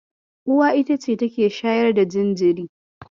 Uwa ita ce take shayar da jinjiri.